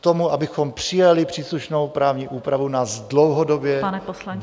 K tomu, abychom přijali příslušnou právní úpravu, nás dlouhodobě...